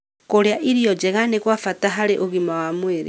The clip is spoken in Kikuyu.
Kũrĩa irio njega nĩ kwa bata harĩ ũgima wa mwĩrĩ.